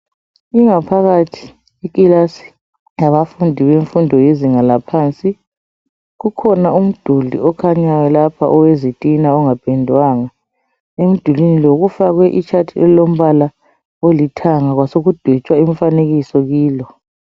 Ingaphakathi yekilasi yabafundi bemfundo yezinga laphansi kukhona umduli okhanyayo lapha owezitina ongapendwanga emdulwini lo kufakwe itshathi elilombala olithanga kwasekudwetshwa imifanekiso kilo.